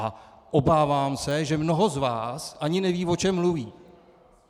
A obávám se, že mnoho z vás ani neví, o čem mluví.